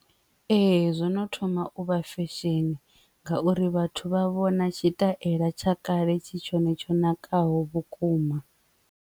Ee, zwono thoma uvha function ngauri vhathu vha vhona tshitaela tsha kale tshi tshone tsho nakaho vhukuma.